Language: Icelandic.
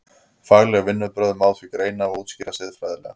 Fagleg vinnubrögð má því greina og útskýra siðfræðilega.